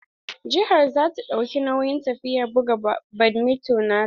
Jihar za ta dauki nauyin tafiyar buga badminto na ta.